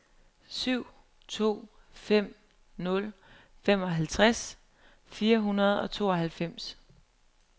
syv to fem nul femoghalvtreds fire hundrede og tooghalvfems